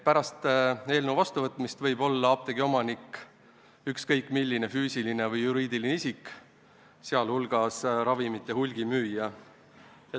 Pärast eelnõu seadusena vastuvõtmist võib apteegi omanik olla ükskõik milline füüsiline või juriidiline isik, sh ravimite hulgimüüja.